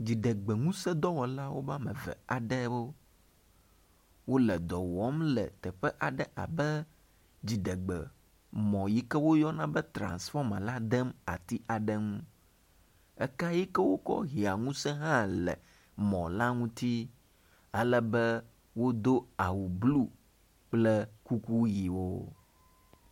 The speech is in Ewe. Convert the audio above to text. dziɖegbeŋuse dɔwɔlawo ƒe ame eve aɖewo wóle dɔwɔm le teƒe aɖe abe dziɖegbemɔ yike woyɔna be transfɔma la dem ati aɖe ŋu, ekayike wókɔ hia ŋuse hã le mɔ la ŋuti alebe wodo awu blu kple kuku yiwo